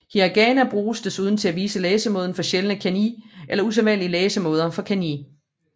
Hiragana bruges desuden til at vise læsemåden for sjældne kanji eller usædvanlige læsemåder for kanji